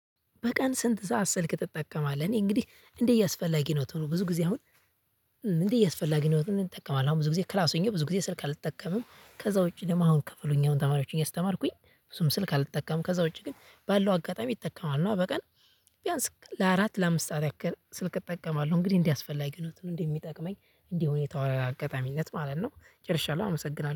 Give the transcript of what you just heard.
በቀን ስንት ሰዓት ስልክ ትጠቀማለህ? እኔ እንግዲህ እንዲህ እያስፈላጊነቱ ነው ብዙ ጊዜ አሁን? ምንድነው እያስፈላጊነቱ እንጠቀማለን አሁን ብዙ ጊዜ ክላስ ሆኜ ብዙ ጊዜ ስልክ አልጠቀምም። ከዛ ውጪ ደግሞ አሁን ክፍል ሆኘ አሁን ተማሪዎችን ያስተማርኩኝ ብዙም ስልክ አልተጠቀምም። ከዛ ውጪ ግን ባለው አጋጣሚ እጠቀማለሁ። እና በቀን ቢያንስ ለአራት ለአምስት አራት ስልክ እጠቀማለሁ እንግዲህ እንዲያስፈልግ ነው? እንዴ የሚጠቅመኝ። እንደ ሁኔታው አጋጣሚነት ማለት ነው። ጨርሻለሁ አመሰግናለሁ